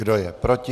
Kdo je proti?